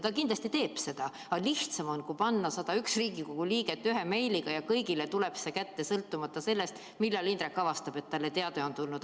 Ta kindlasti teeb seda, aga lihtsam on, kui panna 101 Riigikogu liiget ühe meiliga ja kõigile tuleb see kätte, sõltumata sellest, millal Indrek avastab, et talle teade on tulnud.